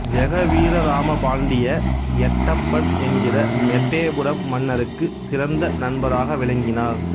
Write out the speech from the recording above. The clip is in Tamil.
ஜெகவீரராமபாண்டிய எட்டப்பன் என்கிற எட்டயபுரம் மன்னருக்கு சிறந்த நண்பராக விளங்கினார்